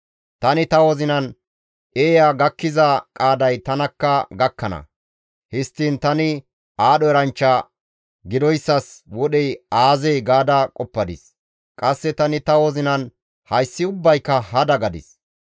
Tani ta wozinan, «Eeya gakkiza qaaday tanakka gakkana; histtiin tani aadho eranchcha gidoyssas wodhey aazee?» gaada qoppadis. Qasse tani ta wozinan, «Hayssi ubbayka hada» gadis.